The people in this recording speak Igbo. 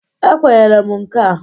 Ekwenyere m nka a.